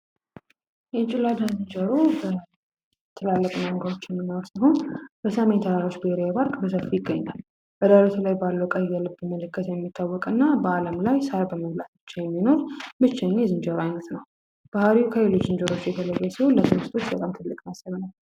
የጭላዳ ዝንጀሮ በኢትዮጵያ ብቻ የሚገኙ ሲሆን በሰሜን ተራሮች ብሔራዊ ፓርክ በሰፊው ይገኛል በአለም ላይ በኢትዮጵያ ብቻ የሚገኝ የዝንጀሮ አይነት ነው ይኸውም ትልቅ መጠን አለው።